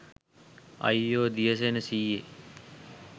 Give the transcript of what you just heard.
අයියෝ දියසේන සීයේ